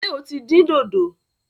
Ṣé o tí dín dòdò?